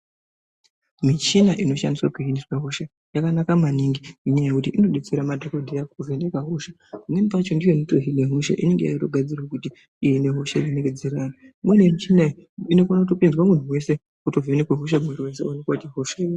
Michina iño shandiswa kuhina hosha yakanaka maningi nenyaya yekuti inodetsera madhokodheya kuvhenaka hosha imwe pacho yacho ndoinotohina hosha imweni yemuchina iyi inotokona kupinzwa muntu weshe oto vhenekwa hosha otoonekwa kuti ihosha yeyi.